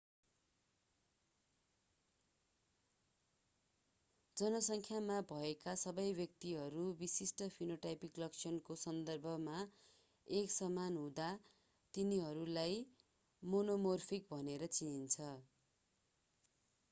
जनसङ्ख्यामा भएका सबै व्यक्तिहरू विशिष्ट फिनोटाइपिक लक्षणको सन्दर्भमा एकसमान हुँदा तिनीहरूलाई मोनोमोर्फिक भनेर चिनिन्छ